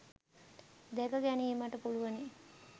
දැක ගැනීමට පුළුවනි